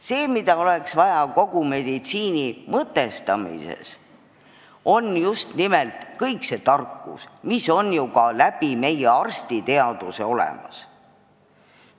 See, mida oleks vaja meditsiini mõtestamises, on just nimelt kogu see tarkus, mis on ju ka meie arstiteaduses olemas.